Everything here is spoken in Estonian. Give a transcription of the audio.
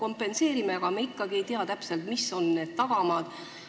Kompenseerime, aga me ikkagi ei tea täpselt, mis on toimunu tagamaad.